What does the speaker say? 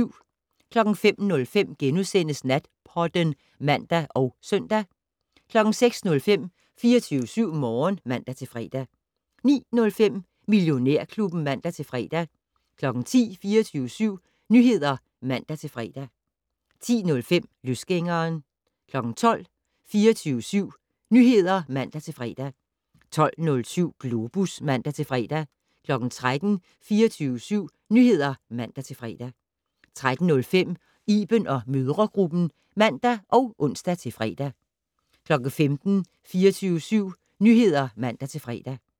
05:05: Natpodden *(man og søn) 06:05: 24syv Morgen (man-fre) 09:05: Millionærklubben (man-fre) 10:00: 24syv Nyheder (man-fre) 10:05: Løsgængeren 12:00: 24syv Nyheder (man-fre) 12:07: Globus (man-fre) 13:00: 24syv Nyheder (man-fre) 13:05: Iben & mødregruppen (man og ons-fre) 15:00: 24syv Nyheder (man-fre)